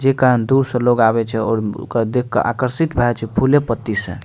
जे कारण दूर से लोग आवे छै ओकरा देख के आकर्षित भए जाय छै फुले पत्ती से।